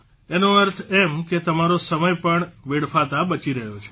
એનો અર્થ એમ કે તમારો સમય પણ વેડફાતા બચી રહ્યો છે